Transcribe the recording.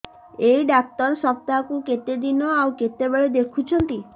ଏଇ ଡ଼ାକ୍ତର ସପ୍ତାହକୁ କେତେଦିନ ଆଉ କେତେବେଳେ ଦେଖୁଛନ୍ତି